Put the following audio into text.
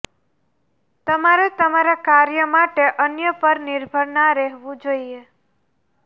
તમારે તમારા કાર્ય માટે અન્ય પર નિર્ભર ના રહેવું જોઈએ